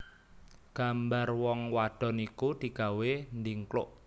Gambar wong wadon iku digawé ndhingkluk